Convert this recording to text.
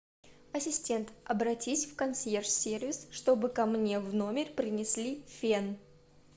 ассистент обратись в консьерж сервис чтобы ко мне в номер принесли фен